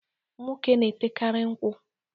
Nwoke na-etekari nkwụ.